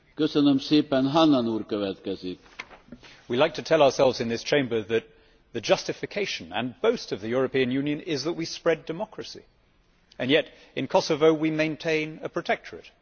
Mr President, we like to tell ourselves in this Chamber that the justification and the boast of the European Union is that we spread democracy, and yet in Kosovo we maintain a protectorate.